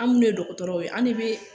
An minnu ye dɔgɔtɔrɔw ye an de bɛ